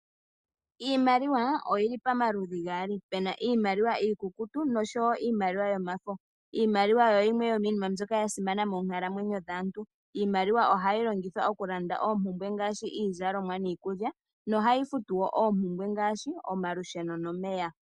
Iimaliwa oyi li pamaludhi gaali, pu na iimaliwa iikukutu nosho wo iimaliwa yomafo. Iimaliwa oyo yimwe yomiinima mbyoka ya simana moonkalamwenyo dhaantu. Yo ohayi longithwa okulanda oompumbwe ngaashi iizalomwa niikulya, nohayi futu wo oompumbwe ngaashi omalusheno nomeya.